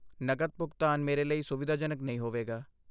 ਨਕਦ ਭੁਗਤਾਨ ਮੇਰੇ ਲਈ ਸੁਵਿਧਾਜਨਕ ਨਹੀਂ ਹੋਵੇਗਾ।